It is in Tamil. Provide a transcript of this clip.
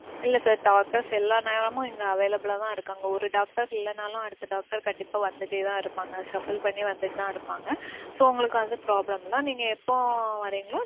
இல்ல sir. Doctors எல்லா நேரமும் இங்க available லா தான் இருக்காங்க. ஒரு doctor இல்லேனாலும் அடுத்த doctor கண்டிப்பா வந்துட்டே தான் இருப்பாங்க. shuffle பன்னி வந்துட்டு தான் இருப்பாங்க. so உங்களுக்கு வந்து problem இல்ல. நீங்க எப்போ வர்றீங்களோ